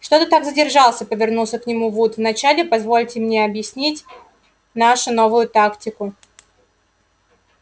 что ты так задержался повернулся к нему вуд вначале позвольте мне объяснить нашу новую тактику